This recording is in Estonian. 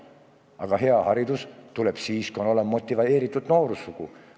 Aga hea haridus tuleb siis, kui on olemas motiveeritud noorsugu.